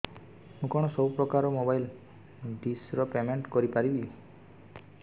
ମୁ କଣ ସବୁ ପ୍ରକାର ର ମୋବାଇଲ୍ ଡିସ୍ ର ପେମେଣ୍ଟ କରି ପାରିବି